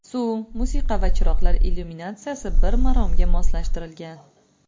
Suv, musiqa va chiroqlar illyuminatsiyasi bir maromga moslashtirilgan.